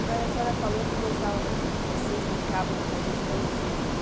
Agora a senhora falou que gostava muito de... Vocês brincavam de fazer os pãezinhos.